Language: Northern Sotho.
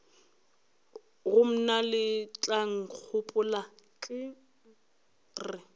go mna letlankgopola ke re